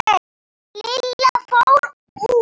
Lilla fór út.